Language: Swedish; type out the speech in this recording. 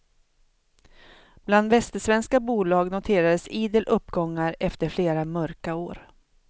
Bland västsvenska bolag noterades idel uppgångar efter flera mörka år.